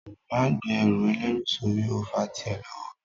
Máa gbé ẹrù ẹlẹ́rù sórí ó fà tí ẹ lọ́wọ́